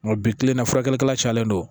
Nga bi kilenna furakɛlikɛla cayalen don